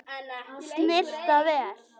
Snyrta vel.